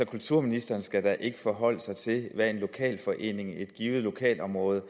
kulturministeren skal da ikke forholde sig til hvad en lokalforening i et givet lokalområde